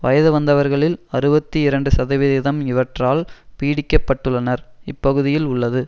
வயது வந்தவர்களில் அறுபத்தி இரண்டு சதவிகிதம் இவற்றால் பீடிக்கப்பட்டுள்ளனர் இப்பகுதியில் உள்ளது